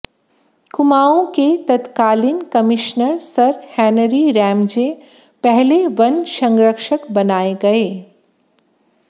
कुमाऊँ के तत्कालीन commissioner sir Henry Ramsay पहले वन संरक्षक बनाए गए